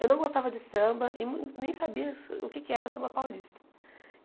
Eu não gostava de samba e mu nem sabia o que é que era samba paulista.